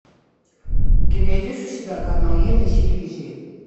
ты найдешь у себя канал е на телевизоре